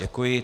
Děkuji.